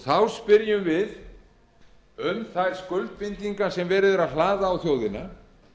þá spyrjum við um þær skuldbindingar sem verið er að hlaða á þjóðina